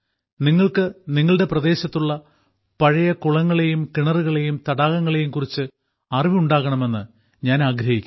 നിങ്ങൾക്ക് നിങ്ങളുടെ പ്രദേശത്തുള്ള പഴയ കുളങ്ങളേയും കിണറുകളേയും തടാകങ്ങളെയും കുറിച്ച് അറിവ് ഉണ്ടാകണമെന്ന് ഞാൻ ആഗ്രഹിക്കുന്നു